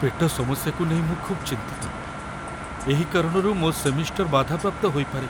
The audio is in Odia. ପେଟ ସମସ୍ୟାକୁ ନେଇ ମୁଁ ଖୁବ୍ ଚିନ୍ତିତ, ଏହି କାରଣରୁ ମୋ ସେମିଷ୍ଟର ବାଧାପ୍ରାପ୍ତ ହୋଇପାରେ।